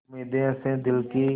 उम्मीदें हसें दिल की